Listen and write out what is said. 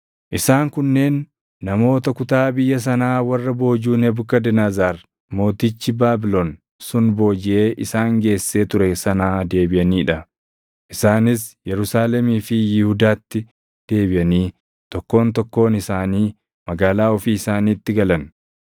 Isaan kunneen namoota kutaa biyya sanaa warra boojuu Nebukadnezar mootichi Baabilon sun boojiʼee isaan geessee ture sanaa deebiʼanii dha; isaanis Yerusaalemii fi Yihuudaatti deebiʼanii tokkoon tokkoon isaanii magaalaa ofii isaaniitti galan;